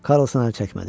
Karlson əl çəkmədi.